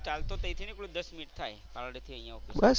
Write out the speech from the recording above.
ચાલતો ત્યાંથી નીકળુ દસ મિનિટ થાય પાલડી થી અહિયાં આવું એટલે.